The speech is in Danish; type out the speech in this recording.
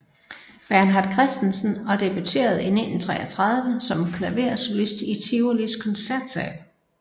Bernhard Christensen og debuterede i 1933 som klaversolist i Tivolis Koncertsal